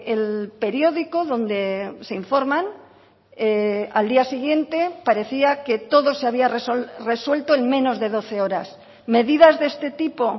el periódico donde se informan al día siguiente parecía que todo se había resuelto en menos de doce horas medidas de este tipo